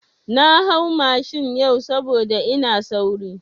Na hau mashin yau saboda ina sauri.